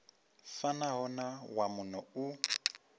fanaho na wa muno u